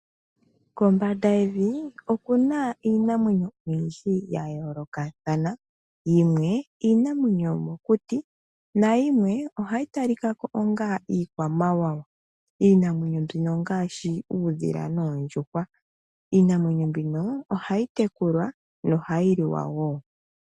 Kombanda yevi okuna iinamwenyo oyindji ya yoolokathana. Yimwe iinamwenyo yomokuti nayimwe ohayi talika ko onga iikwamawawa. Iinamwenyo mbino ongaashi uudhila noondjuhwa. Iinamwenyo mbino ohayi tekulwa nohayi liwa wo.